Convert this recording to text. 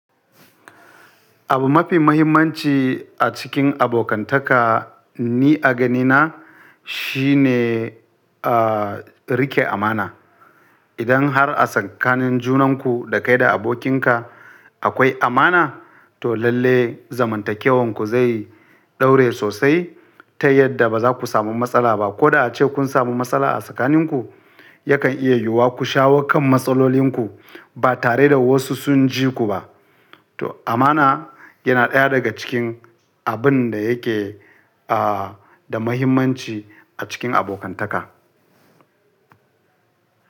Abu mafi mahimmanci a cikin abokantaka ni a ganina shine, ah, rike amana. Idan har a tsakanin junanku da kai da abokinka akwai amana, to lalle zamantakewanku zai ɗore sosai ta yadda ba za ku samu matsala ba. Ko da ace kun samu matsala a tsakaninku, yakan iya yiwuwa ku shawo kan matsalolinku ba tare da wasu sun ji ku ba. To amana yana ɗaya daga cikin abun da yake, ah, da mahimmanci a cikin abokantaka.